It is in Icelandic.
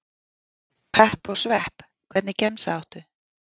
Pepp og svepp Hvernig gemsa áttu?